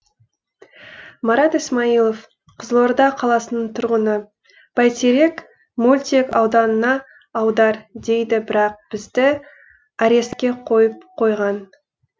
марат исмаилов қызылорда қаласының тұрғыны бәйтерек мөлтек ауданына аудар дейді бірақ бізді арестке қойып қойған